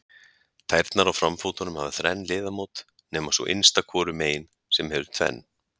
Tærnar á framfótunum hafa þrenn liðamót nema sú innsta hvoru megin sem hefur tvenn.